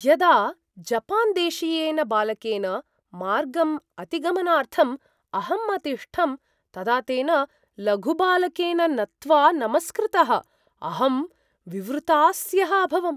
यदा जपान्देशीयेन बालकेन मार्गम् अतिगमनार्थम् अहम् अतिष्ठम्, तदा तेन लघुबालकेन नत्वा नमस्कृतः अहं विवृतास्यः अभवम्।